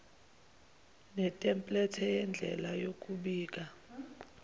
netemplethe yendlela yokubika